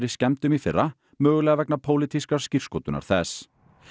skemmdum í fyrra mögulega vegna pólitískrar skírskotunar þess